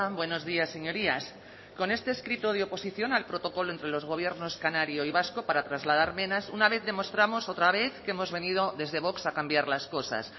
buenos días señorías con este escrito de oposición al protocolo entre los gobiernos canario y vasco para trasladar menas una vez demostramos otra vez que hemos venido desde vox a cambiar las cosas